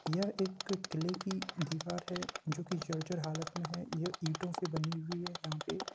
यह एक किले की दिवार है जो कि जर्जर हालत में है। यह ईटो से बनी हुई है यहाँ पे ।